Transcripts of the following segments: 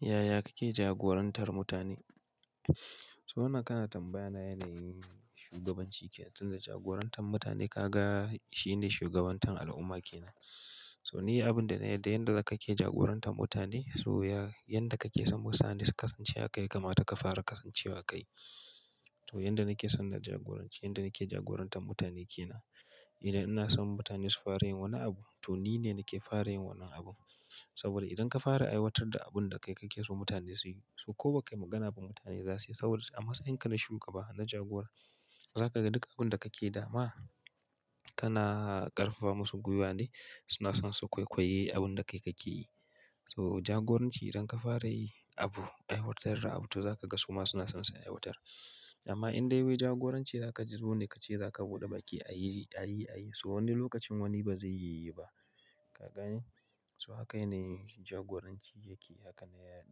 Yaya kake jagorantar mutane? So, wannan kana tambaya na yanayin shugabanci kenan, tunda jagorantar mutane ka ga shi ne shugabantar al'umma ke nan. So ni abin da na yi da yanda za ka ke jagorantar mutane, so ya, yanda ka ke son wasu mutane su kasance haka ya kamata ka fara kasancewa kai. To yanda na ke son na jagoranci, yanda na ke jagorantar mutane ke nan. Idan ina son mutane su fara yin wani abu, to ni ne nake fara yin wannan abun. Saboda idan ka fara aiwatar da abun da kai ka ke so mutane su yi, so ko ba kai magana ba mutane za su yi saboda a matsayin ka na shugaba, na jagora, za ka ga duk abun da ka ke dama, kana ƙarfafa masu gwiwa ne, suna son su kwaikwaye abun da kai ka ke yi. So jagoranci idan ka fara yi abu, aiwatar da abu, to za ka ga su ma suna son su aiwatar. Amma in dai wai jagoranci za ka zo ne kace za ka buɗe baƙi a yi, a yi, a yi, so wani lokacin wani ba zai yi ba. Ka gani? So haka ne jagoranci yake, haka ne ya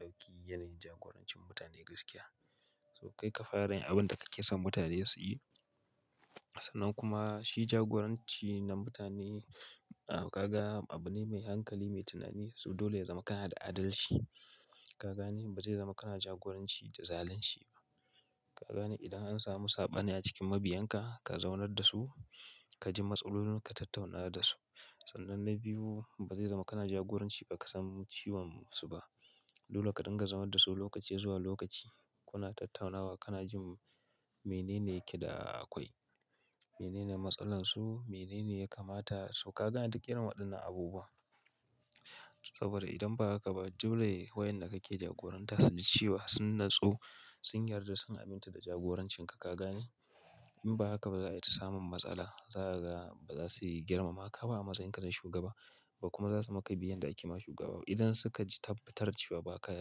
ɗauki yanayin jagorancin mutane gaskiya. So kai ka fara yin abun da ka ke son mutane su yi. Sannan kuma shi jagoranci na mutane, ah ka ga abu ne mai hankali, mai tunani. So dole ya zama kana da adalci. Ka gani? Ba zai zama kana jagoranci da zalunci ba. Ka gani? Idan an samu saɓani a cikin mabiyan ka, ka zaunar da su, ka ji matsalolinsu, ka tattauna da su. Sannan na biyu ba zai zama kana jagoranci ba ka san cewan su ba. Dole ka dinga zama da su lokaci zuwa lokaci, kuna tattaunawa, kana jin menene ke da akwai, menene matsalar su, menene ya kamata su. Ka ga Duk irin wadannan abubuwan saboda idan ba haka ba, dole wayanda ka ke jagoranta su ji cewa sun nutsu, sun yarda, sun aminta da jagorancin ka. Ka gane? In ba haka ba za ai ta samun matsala. Za ka ga ba za su girmamaka ba a matsayinka na shugaba, ba kuma za su maka biyayyar da ake ma shugaba ba. Idan suka tabbatar da cewa ba ka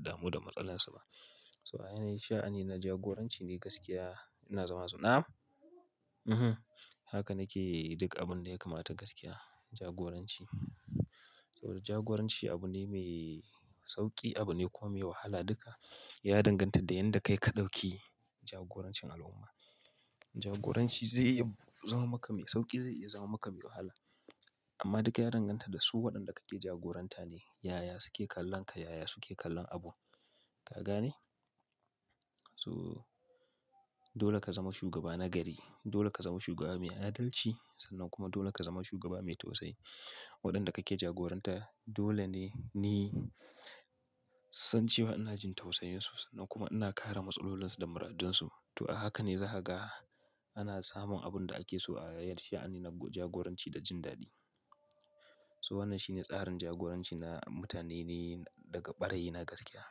damuwa da matsalarsu ba. So, a yanayi sha'ani na jagoranci ne gaskiya yana zama suna. Mhm, haka nake yi duk abun da ya kamata gaskiya, jagoranci. Saboda jagoranci abu ne mai sauƙi, abu ne kuwa mai wahala duka. Ya danganta da yanda kai ka ɗauki jagorancin al'umma. Jagoranci zai iya zama maka mai sauƙi, zai iya zama maka mai wahala. Amma duka ya danganta da su waɗanda kake jagoranta ne. Yaya su ke kallon ka, yaya su ke kallon abu. Ka gane? So dole ka zama shugaba na gari. Dole ka zama shugaba mai adalci. Sannan kuma dole ka zama shugaba mai tausayi. Waɗanda kake jagoranta dole ne ni san cewa ina jin tausayinsu, sannan kuma ina kare matsalolinsu da muradunsu. To a haka ne za ka ga ana samun abun da ake so a yanayin sha'ani na jagoranci da jin daɗi. So wannan shine tsarin jagoranci na mutane ne daga ɓarayina gaskiya.